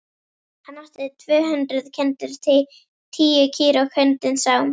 Hann átti tvö hundruð kindur, tíu kýr og hundinn Sám.